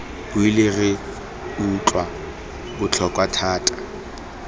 buile re utlwa botlhoko thata